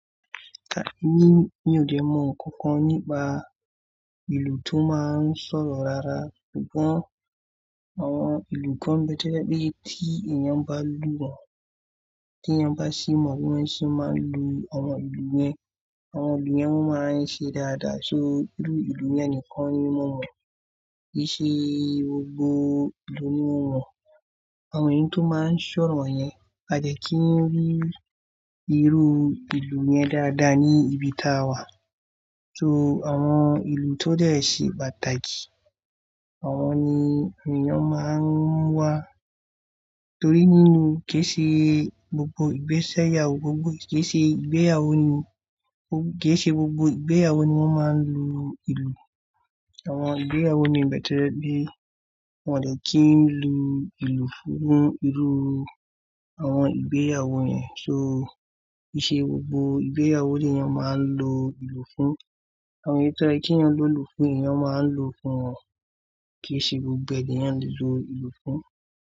Mi ò de mọ̀ kankan nípa ìlú tó máa n sọ̀rọ̀ rárá ṣùgbọ́n àwọn ìlú kan nbe to pẹ̀ tí èèyàn bá lù wọ́n, tí èèyàn bá sì mọ bi wọ́n ṣe máa ń lu àwọn ìlú yẹn, àwọn ìlú yẹn wọ́n máa ń ṣe dáadáa. So irú ìlú yẹn nìkan ni mo mọ̀, kì í ṣe gbogbo ìlú ni mo mọ̀. Àwọn èyi tó máa n sọ̀rọ̀ yẹn, a de kí n rí irú ìlú yẹn dáadáa ní ibi táa wà. So àwọn ìlú tó dẹ̀ ṣe pàtàkì, àwọn ni èèyàn máa ń wá torí nínú kí ì ṣe gbogbo ìgbéyàwó ni wọ́n máa ń l lu ìlú. Àwọn ìgbéyàwó mii n be to je wipe wọ́n dẹ̀ kí ń lu ìlú fún irú àwọn ìgbéyàwó yẹn. So kì í ṣe gbogbo ìgbéyàwó ni èèyàn máa ń lo ìlú fún. Àwọn èyi tó ye kí èèyàn lo ìlú fún, èèyàn máa ń lo fún wọn. Kì í ṣe gbogbo eniyan ni a lè lo ìlú fún.